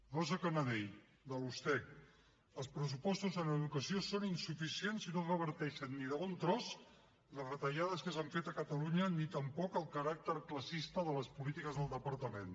rosa cañadell de la ustec els pressupostos en educació són insuficients i no reverteixen ni de bon tros les retallades que s’han fet a catalunya ni tampoc el caràcter classista de les polítiques del departament